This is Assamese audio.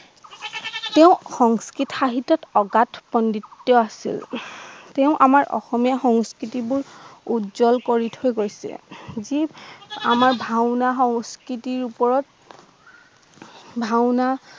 তেওঁ সংস্কৃত সাহিত্যত অগাত পণ্ডিত আছিল তেওঁ আমাৰ অসমীয়া সংস্কৃতিবোৰ উজ্জল কৰি থৈ গৈছে যি আমাৰ ভাওনা সংস্কৃতি ওপৰত ভাত্তনা